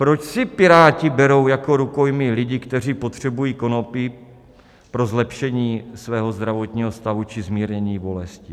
Proč si Piráti berou jako rukojmí lidi, kteří potřebují konopí pro zlepšení svého zdravotního stavu či zmírnění bolesti?